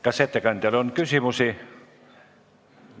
Kas ettekandjale on küsimusi?